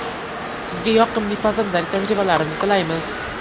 Sizga yoqimli pazandalik tajribalarini tilaymiz!